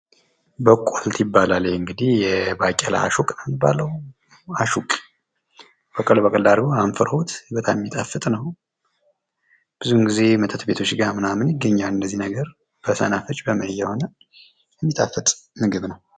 በቆልት ይባላል ይሄ እንድጊህ የባቄላ አሹቅ ነው የሚባለው? አሹቅ በቀል በቀል አድርገውት አንፍረውት በጣም የሚጣፍጥ ነው። ብዙን ጊዜ መጠጥ ቤቶች ጋር ምናምን ይገኛል እንዚህ ነገር ከሰናፍጭ ምናምን እየሆነ። ግን የሚጣፍጥ ምግብ ነው።